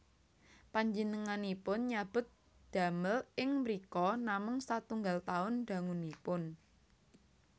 Panjenenganipun nyabut damel ing mrika namung satunggal taun dangunipun